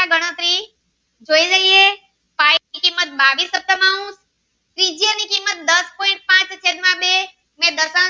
pai ની કિંમત બાવીસ તૃતિયાંઉન્સ ત્રિજ્યા ની કિંમત દસ point પાંચ છેદ માં બે